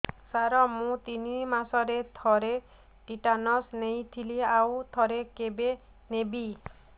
ସାର ମୁଁ ତିନି ମାସରେ ଥରେ ଟିଟାନସ ନେଇଥିଲି ଆଉ ଥରେ କେବେ ନେବି